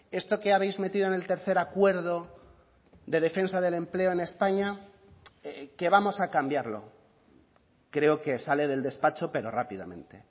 esto que habéis metido en el tercer acuerdo de defensa del empleo en españa que vamos a cambiarlo creo que sale del despacho pero rápidamente